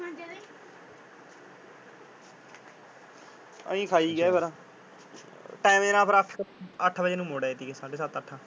ਅਸੀਂ ਖਾਈ ਗੇ ਫੇਰ। ਟਾਇਮ ਜੇ ਨਾਲ ਫੇਰ ਅੱਠ ਅੱਠ ਵਜੇ ਨੂੰ ਮੁੜ ਆਏ ਤੀ ਗਏ। ਸੱਢੇ ਸੱਤ ਅੱਠ।